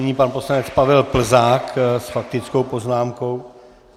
Nyní pan poslanec Pavel Plzák s faktickou poznámkou.